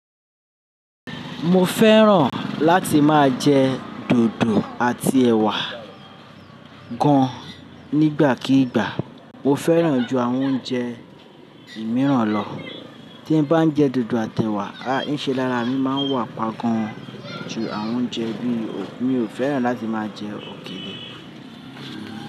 Mo fẹ́ràn láti máa jẹ dòdò àti ẹ̀wà gann nígbàkigbà. Mo fẹ́ràn ju àwọn oúnjẹ mìíràn lọ. Tí n bá jẹ dòdò àt'ẹ̀wà, áìṣe lára mi máa wà páa gan ju àwọn oúnjẹ bí i, mi ò fẹ́ràn láti máa jẹ òkele.